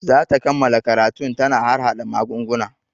Za ta kammala karatun ta na harhaɗa magunguna